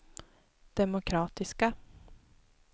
demokratiska